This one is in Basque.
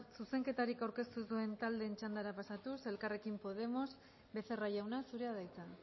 zuzenketarik aurkeztu ez duen taldeen txandara pasatuz elkarrekin podemos becerra jauna zurea da hitza